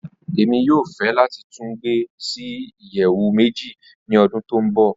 Rara, Emi yoo fẹ lati tun gbe si iyẹwu meji ni ọdun to nbọ.